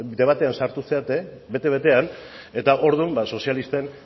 debatean sartu zarete bete betean eta orduan ba sozialisten